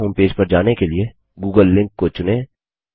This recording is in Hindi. गूगल होमपेज पर जाने के लिए गूगल लिंक को चुनें